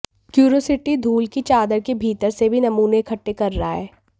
curiosity धूल की चादर के भीतर से भी नमूने इकट्ठे कर रहा है